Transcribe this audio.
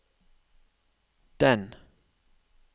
den